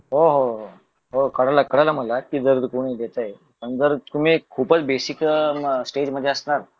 हो हो हो कळलं कळलं मला कि जर कोणी देतय पण जर तुम्ही खूपच बेसिक अह स्टेजमध्ये असणार